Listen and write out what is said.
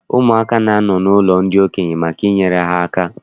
Ụmụaka na-anọ n'ụlọ ndị okenye maka inyere ha aka.